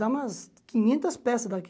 Dá umas quinhentas peças daqui.